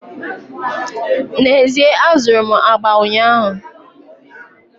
N'ezie, azụrụ m agba ụnyaahụ